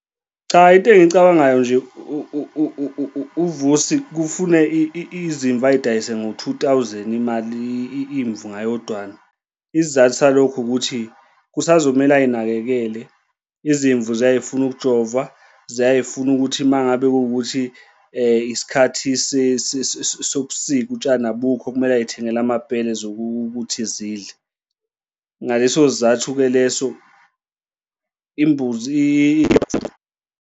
Cha, into engiyicabangayo nje uVusi kufune izimvu ay'dayise ngo-two thousand imali imvu ngayodwana. Isizathu salokho ukuthi kusazomele ay'nakekele izimvu ziyaye zifune ukujovwa, ziyaye zifune ukuthi uma ngabe kuwukuthi isikhathi sobusika utshani abukho kumele ay'thengele amabhele zokuthi zidle. Ngaleso sizathu-ke leso imbuzi .